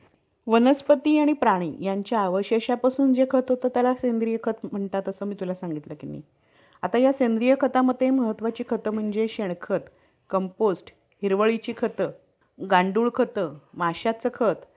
तर defence मध्ये telecommunication खूप जरुरी आहे कारण कि communication आता political point of view ने जर आपण बघितलं तर communication दोन देशांच्या prime minister लोक दोन देशांचे जे incharge जे आहेत त्यांच्या मध्ये होत आणि ते